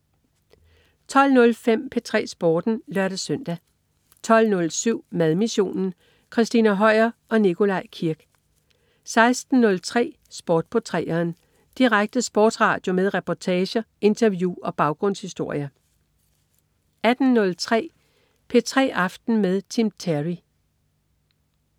12.05 P3 Sporten (lør-søn) 12.07 Madmissionen. Christina Høier og Nikolaj Kirk 16.03 Sport på 3'eren. Direkte sportsradio med reportager, interview og baggrundshistorier 18.03 P3 aften med Tim Terry